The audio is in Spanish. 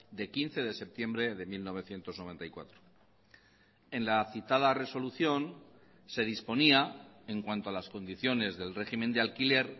de quince de septiembre de mil novecientos noventa y cuatro en la citada resolución se disponía en cuanto a las condiciones del régimen de alquiler